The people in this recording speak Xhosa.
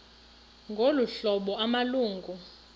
ngolu hlobo amalungu